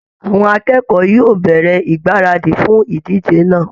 Àwọn akẹ́kọ̀ọ́ yóò bẹ̀rẹ̀ ìgbáradì fún ìdíje náà